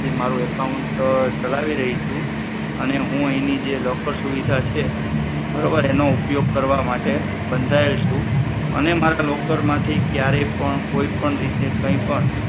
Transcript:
અહીંથી મારુ account ચલાવી રહી છું અને હું અહીંની જે locker સુવિધા છે બરોબર છે એનો ઉપયોગ કરવા માટે બંધાયેલી છું અને મારા locker માંથી કયારેય પણ કોઈ પણ રીતે કઈ પણ